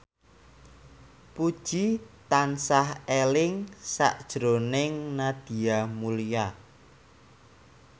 Puji tansah eling sakjroning Nadia Mulya